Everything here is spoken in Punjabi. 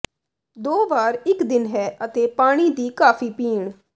ਦੋ ਵਾਰ ਇੱਕ ਦਿਨ ਹੈ ਅਤੇ ਪਾਣੀ ਦੀ ਕਾਫ਼ੀ ਪੀਣ